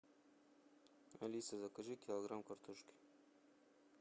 алиса закажи килограмм картошки